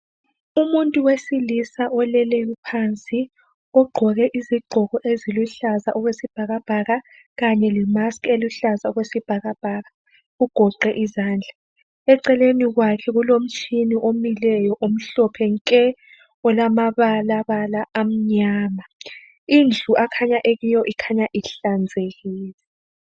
Umuntu wesilisa oleleyo phansi ogqoke izigqoko eziluhlaza okwesibhakabhaka kanye lemask eluhlaza okwesibhakabhaka ugoqe izandla, eceleni kwakhe kulomtshina omileyo omhlophe nke olamabalabala amnyama indlu akhanya ekiyo ikhanya ihlazekile.